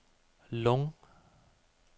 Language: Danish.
Lung